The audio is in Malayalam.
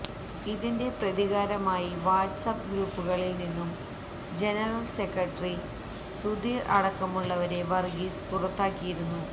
ഇതിന്റെ പ്രതികാരമായി വാട്സ് അപ്പ് ഗ്രൂപ്പുകളിൽ നിന്നും ജനറൽ സെക്രട്ടറി സുധീർ അടക്കമുള്ളവരെ വർഗീസ് പുറത്താക്കിയിരുന്നു